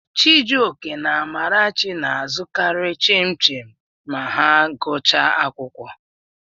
Chijioke na Amarachi na-azụkarị Chin-chim ma ha gụchaa akwụkwọ.